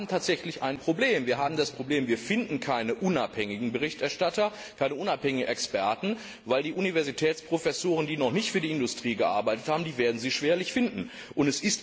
Nein, wir haben tatsächlich ein Problem. Wir haben das Problem, dass wir keine unabhängigen Berichterstatter, keine unabhängigen Experten finden, weil Sie die Universitätsprofessoren, die noch nicht für die Industrie gearbeitet haben, schwerlich finden werden.